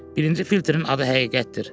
Birinci filtrin adı həqiqətdir.